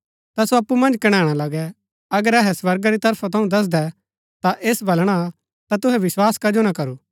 ता सो अप्पु मन्ज कणैणा लगै अगर अहै स्वर्गा री तरफ थऊँ दसदै ता ऐस वलणा ता तुहै विस्वास कजो ना करू